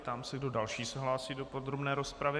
Ptám se, kdo další se hlásí do podrobné rozpravy.